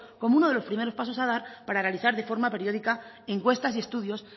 como uno de los primeros pasos a dar para realizar de forma periódica encuestas y estudios